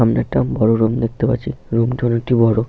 সামনে একটা বড় রুম দেখতে পাচ্ছি। রুম -টি অনেকটি বড়।